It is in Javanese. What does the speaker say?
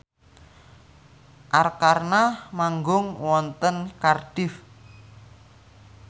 Arkarna manggung wonten Cardiff